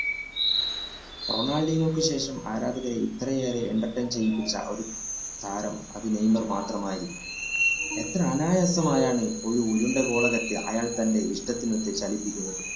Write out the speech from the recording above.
റൊണാൾഡിനു ശേഷം ആരാധകരെ ഇത്രയേറെ entertainment ചെയ്യിപ്പിച്ച ഒരു താരം അത് നെയ്മർ മാത്രമായിരുന്നു എത്ര അനായസമായാണ് ഒരു ഉരുണ്ട goal തന്റെ ഇഷ്ടത്തിന്ഒ ത്തു ചലിപ്പിക്കുന്നത്